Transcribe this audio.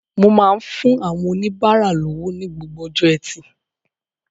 Mo máa ń fún àwọn oníbárà lówó ní gbogbo ọjọ́ Ẹtì